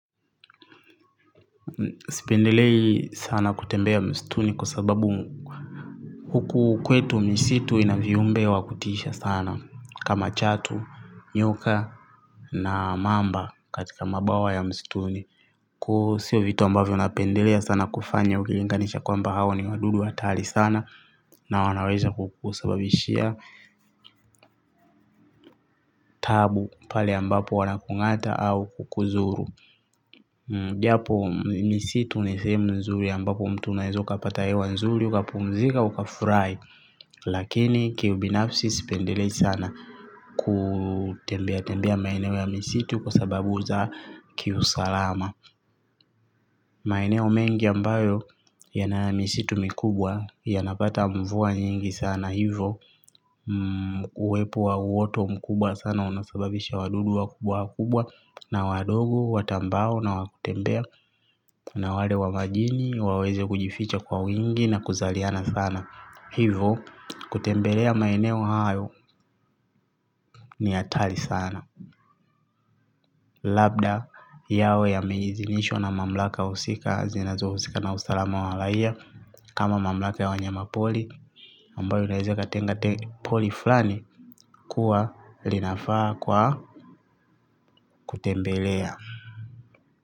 Sipendelei sana kutembea mstuni kwa sababu huku kwetu misitu ina viumbe wa kutisha sana kama chatu, nyoka na mamba katika mabawa ya mstuni. Ku sio vitu ambavyo napendelea sana kufanya ukilinganisha kwamba hawa ni wadudu hatari sana na wanaweza kukusababishia taabu pale ambapo wanakung'ata au kukudhuru. Japo misitu ni sehemu nzuri ambapo mtu unaweza ukapata hewa nzuri ukapumzika ukafurahi. Lakini kiubinafsi sipendelei sana. Kutembea tembea maeneo ya misitu kwa sababu za kiusalama. Maeneo mengi ambayo yana misitu mikubwa yanapata mvua nyingi sana hivo. Uwepo wa uoto mkubwa sana unasababisha wadudu wakubwa wakubwa. Na wadogo watambao nawatembea. Na wale wa majini waweze kujificha kwa wingi na kuzaliana sana. Hivo, kutembelea maeneo hayo ni hatari sana. Labda yawe yameidhinishwa na mamlaka husika zinazohusika na usalama wa raia. Kama mamlaka ya wanyama pori ambayo unaweza ukatenga pori fulani kuwa linafaa kwa kutembelea.